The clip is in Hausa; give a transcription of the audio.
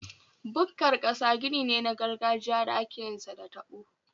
Bukkar ƙasa gini ne na gargajiya da akeyin sa da taɓo.